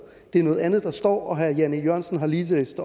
det er noget andet der står og herre jan e jørgensen har lige læst